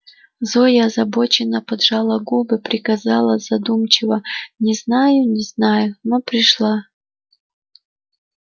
зоя озабоченно поджала губы приказала задумчиво не знаю не знаю но пришла